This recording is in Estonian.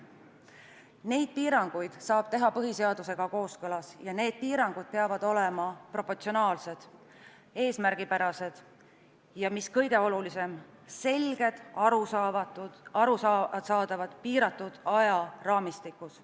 Neid piiranguid saab teha põhiseadusega kooskõlas ja need piirangud peavad olema proportsionaalsed, eesmärgipärased ja mis kõige olulisem: selged, arusaadavad, piiratud ajaraamistikus.